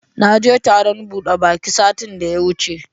Naje taron buɗe baki satin da ya wuce.